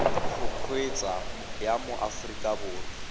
go kgweetsa ya mo aforika